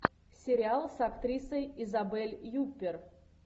сериал с актрисой изабель юппер